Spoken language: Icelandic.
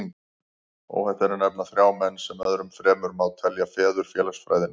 Óhætt er að nefna þrjá menn, sem öðrum fremur má telja feður félagsfræðinnar.